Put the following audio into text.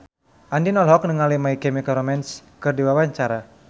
Andien olohok ningali My Chemical Romance keur diwawancara